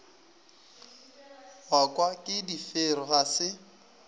gakwa ke difero ga se